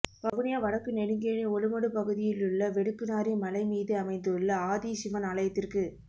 வவுனியா வடக்கு நெடுங்கேணி ஒலுமடு பகுதியிலுள்ள வெடுக்குநாறி மலை மீது அமைந்துள்ள ஆதி சிவன் ஆலயத்திற்கு